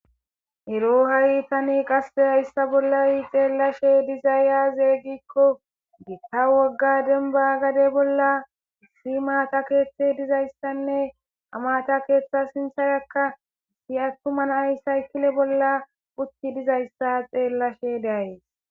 Ero haritani qaseyayssa bollawi xeellashe dizayaazeeygikko gitta wogga denba gade bolla issi maata keeththe dizayssanne amata keeththa sintharakka issi attuman ayshaykile bolla utti dizayssa xeellashe deayes.